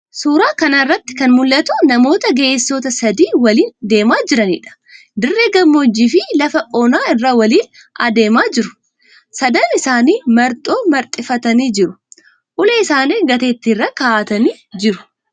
Suuraa kana irratti kan mul'atu namoota ga'eessota sadii waliin deemaa jiraniidha. Dirree gammoojjiifi lafa onaa irra waliin deemaa jiru. Sadan isaanii marxoo marxifatanii jiru. Ulee isaanii gateettii irra ka'atanii jiru.